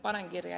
Panen kirja.